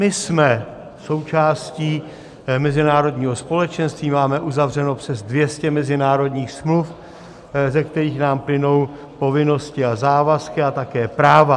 My jsme součástí mezinárodního společenství, máme uzavřeno přes 200 mezinárodních smluv, ze kterých nám plynou povinnosti a závazky a také práva.